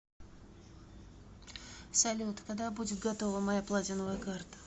салют когда будет готова моя платиновая карта